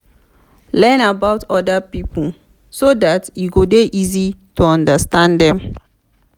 learn about oda pipo so dat e go dey easy to understand dem